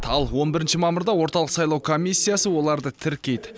ал он бірінші мамырда орталық сайлау комиссиясы оларды тіркейді